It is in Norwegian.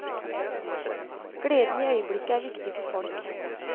Gleden i øyeblikket er viktig for folk.